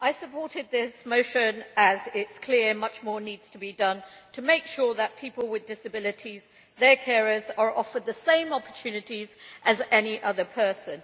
Mr President, I supported this motion because it is clear that much more needs to be done to make sure that people with disabilities and their carers are offered the same opportunities as any other person.